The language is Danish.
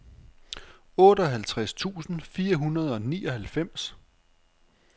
otteoghalvtreds tusind fire hundrede og nioghalvfems